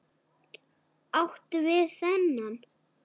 Áttu við þennan?